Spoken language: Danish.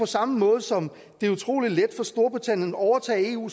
samme måde som det er utrolig let for storbritannien at overtage eu